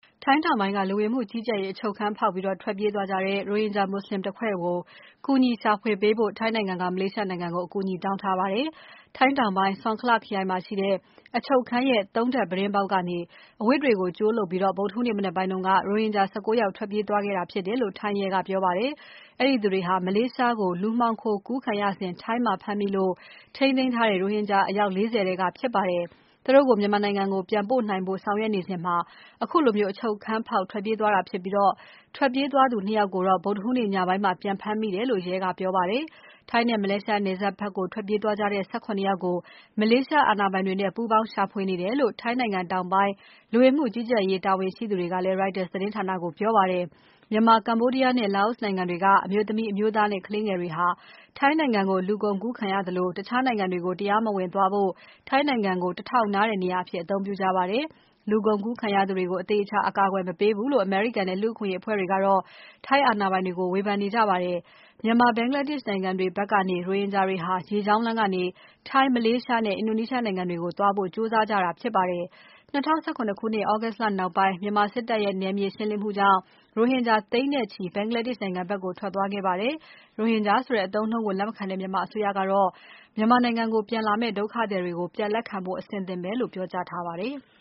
ထိုင်းတောင်ပိုင်းက လူဝင်မှုကြီးကြပ်ရေးအချုပ်ခန်းဖောက်ပြီး ထွက်ပြေးသွားကြတဲ့ ရိုဟင်ဂျာမူဆလင်တဖွဲ့ကို ကူညီရှာဖွေပေးဖို့ ထိုင်းနိုင်ငံက မလေးရှားနိုင်ငံကို အကူအညီတောင်းလိုက်ပါတယ်။ ထိုင်းတောင်ပိုင်း Songkhla ခရိုင်မှာရှိတဲ့ အချုပ်ခန်းရဲ့ ၃ ထပ်ပြူတင်းပေါက်ကနေ အဝတ်တွေကို ကြိုးလုပ်ပြီး ဗုဒ္ဓဟူးနေ့မနက်ပိုင်းက ရိုဟင်ဂျာ ၁၉ ယောက်ထွက်ပြေးခဲ့ကြတာဖြစ်တယ်လို့ ထိုင်းရဲကပြောပါတယ်။ အဲဒီသူတွေဟာ မလေးရှားကို လူမှောင်ခိုကူးခံရစဉ် ထိုင်းမှာ ဖမ်းမိလို့ ထိန်းသိမ်းထားတဲ့ ရိုဟင်ဂျာ အယောက် ၄၀ ထဲကဖြစ်ကြပါတယ်။ သူတို့ကို မြန်မာနိုင်ငံကို ပြန်ပို့နိုင်ဖို့ ဆောင်ရွက်နေစဉ် ခုလို အချုပ်ခန်းဖောက်ထွက်ပြေးသွားတာဖြစ်ပြီး ထွက်ပြေးသူ ၂ ယောက်ကိုတော့ ဗုဒ္ဓဟူးနေ့ ညပိုင်းမှာ ပြန်ဖမ်းမိတယ်လို့ ရဲကပြောပါတယ်။ ထိုင်းနဲ့ မလေးရှားနယ်စပ်ဘက်ကို ထွက်ပြေးသွားကြတဲ့ ၁၇ ယောက်ကို မလေးရှားအာဏာပိုင်တွေနဲ့ ပူးပေါင်းရှာဖွေနေတယ်လို့ ထိုင်းနိုင်ငံတောင်ပိုင်း လူဝင်မှုကြီးကြပ်ရေးတာဝန်ရှိသူတွေက Reuters သတင်းဌာနကို ပြောပါတယ်။ မြန်မာ၊ Cambodia နဲ့ Laos နိုင်ငံတွေက အမျိုးသမီး၊ အမျိုးသားနဲ့ ကလေးငယ်တွေဟာ ထိုင်းနိုင်ငံကို လူကုန်ကူးခံရသလို တခြားနိုင်ငံတွေကို တရားမဝင်သွားဖို့ ထိုင်းနိုင်ငံကို တထောက်နားတဲ့ နေရာအဖြစ် အသုံးပြုကြပါတယ်။ လူကုန်ကူးခံရသူတွေကို အသေအချာ အကာအကွယ်မပေးဘူးလို့ အမေရိကန်နဲ့ လူ့အခွင့်အရေးအဖွဲ့တွေက ထိုင်းအာဏာပိုင်တွေကို ဝေဖန်နေကြပါတယ်။ မြန်မာနဲ့ ဘင်္ဂလားဒေ့ရှ်နိုင်ငံတွေဘက်ကနေ ရိုဟင်ဂျာတွေဟာ ရေကြောင်းလမ်းကနေ ထိုင်း၊ မလေးရှားနဲ့ အင်ဒိုနီရှားနိုင်ငံတွေကို သွားဖို့ကြိုးစားကြတာဖြစ်ပါတယ်။ ၂၀၁၇ ခုနှစ် သြဂုတ်လနောက်ပိုင်း မြန်မာစစ်တပ်ရဲ့ နယ်မြေရှင်းလင်းမှုကြောင့် ရိုဟင်ဂျာသိန်းနဲ့ချီ ဘင်္ဂလားဒေ့ရှ် နိုင်ငံဘက်ကို ထွက်သွားခဲ့ကြပါတယ်။ ရိုဟင်ဂျာဆိုတဲ့ အသုံးအနှုန်းကို လက်မခံတဲ့ မြန်မာအစိုးရကတော့ မြန်မာနိုင်ငံကို ပြန်လာမယ့် ဒုက္ခသည်တွေကို ပြန်လက်ခံဖို့ အဆင်သင့်ပဲလို့ ပြောကြားထားပါတယ်။